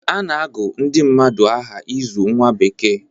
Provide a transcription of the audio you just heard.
A na-agụ ndị mmadụ aha ịzụ nwa bekee